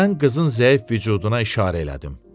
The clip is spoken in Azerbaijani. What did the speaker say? Mən qızın zəif vücuduna işarə elədim.